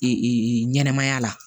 ɲɛnɛmaya la